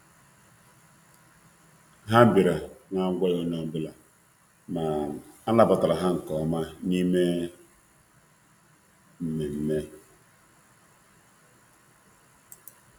Ha bịara na-agwaghị onye ọbụla, ma a nabatara ha nke ọma n’ime mmemme.